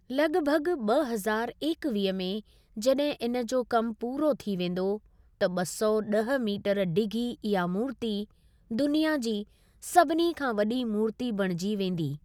लॻभॻ ॿ हज़ारू एकवीह में जॾहिं इन जो कम पूरो थी वेंदो त ॿ सौ ॾह मीटर डिघी इहा मूर्ति दुनिया जी सभिनी खां वॾी मूर्ति बणिजी वेंदी।